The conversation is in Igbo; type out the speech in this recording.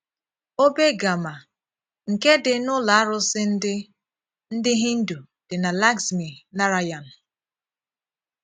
Òbè gàmmà nke dị n’Ụlọ àrụ̀sị̀ ndị ndị Hindu dị na Laxmi Narayan